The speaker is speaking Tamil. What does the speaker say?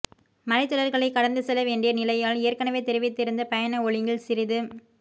மலைத் தொடர்களைக் கடந்து செல்ல வேண்டிய நிலையால் ஏற்கெனவே தெரிவித்திருந்த பயண ஒழுங்கில் சிறிது